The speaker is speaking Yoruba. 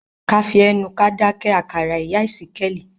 ká fí ẹnu ká dáké àkàrà ìyá ìsíkéèli.